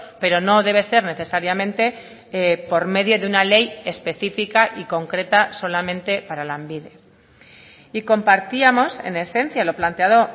pero no debe ser necesariamente por medio de una ley específica y concreta solamente para lanbide y compartíamos en esencia lo planteado